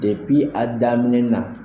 Depi a daminɛ na.